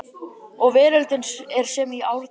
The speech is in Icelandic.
Og veröldin er sem í árdaga